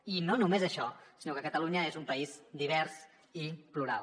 i no només això sinó que catalunya és un país divers i plural